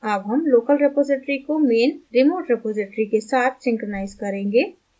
अब हम local repository को main remote रिपॉज़िटरी के साथ synchronize करेंगे